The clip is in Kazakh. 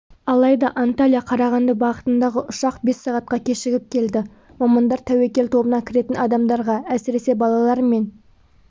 алайда анталия-қарағанды бағытындағы ұшақ бес сағатқа кешігіп келді мамандар тәуекел тобына кіретін адамдарға әсіресе балалар мен